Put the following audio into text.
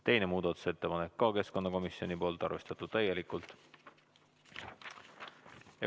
Teine muudatusettepanek, ka keskkonnakomisjonilt, arvestatud täielikult.